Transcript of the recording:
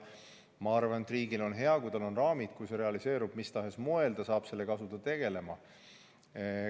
Ma arvan, et riigil on hea, kui tal on raamid, selleks et kui see realiseerub mis tahes moel, saab ta asuda sellega tegelema.